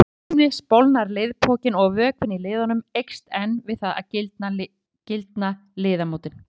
Samtímis bólgnar liðpokinn og vökvinn í liðnum eykst en við það gildna liðamótin.